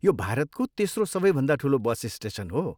यो भारतको तेस्रो सबैभन्दा ठुलो बस स्टेसन हो।